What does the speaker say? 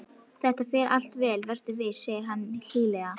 Þetta fer allt vel, vertu viss, segir hann hlýlega.